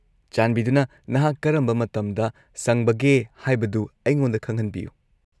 -ꯆꯥꯟꯕꯤꯗꯨꯅ ꯅꯍꯥꯛ ꯀꯔꯝꯕ ꯃꯇꯝꯗ ꯁꯪꯕꯒꯦ ꯍꯥꯏꯕꯗꯨ ꯑꯩꯉꯣꯟꯗ ꯈꯪꯍꯟꯕꯤꯌꯨ꯫